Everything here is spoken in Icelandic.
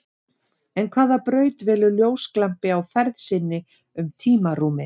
En hvaða braut velur ljósglampi á ferð sinni um tímarúmið?